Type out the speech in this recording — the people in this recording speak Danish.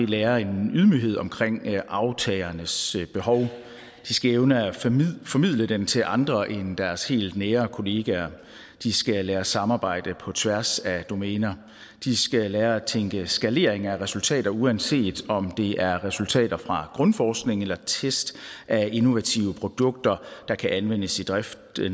lære en ydmyghed omkring aftagernes behov de skal evne at formidle formidle den til andre end deres helt nære kollegaer de skal lære at samarbejde på tværs af domæner de skal lære at tænke skalering af resultater uanset om det er resultater fra grundforskning eller test af innovative produkter der kan anvendes i driften af det